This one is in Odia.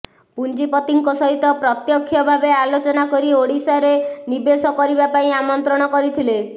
ପୁଞ୍ଜିପତିଙ୍କ ସହିତ ପ୍ରତ୍ୟକ୍ଷ ଭାବେ ଆଲୋଚନା କରି ଓଡ଼ିଶାରେ ନିବେଶ କରିବା ପାଇଁ ଆମନ୍ତ୍ରଣ କରିଥିଲେ